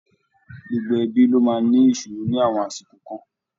Gbogbo ẹbí ló máa ń ní ìṣòro ní àwọn àsìkò kan.